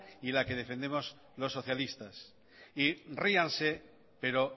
y la que defendemos los socialistas y ríanse pero